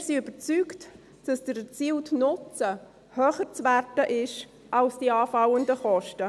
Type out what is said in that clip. Wir sind überzeugt, dass der erzielte Nutzen höher zu werten ist als die anfallenden Kosten.